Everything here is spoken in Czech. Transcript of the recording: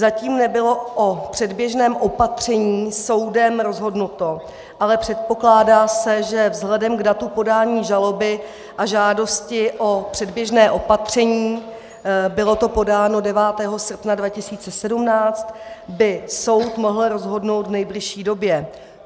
Zatím nebylo o předběžném opatření soudem rozhodnuto, ale předpokládá se, že vzhledem k datu podání žaloby a žádosti o předběžné opatření - bylo to podáno 9. srpna 2017 - by soud mohl rozhodnout v nejbližší době.